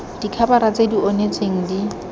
dikhabara tse di onetseng di